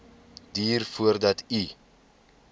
duur voordat u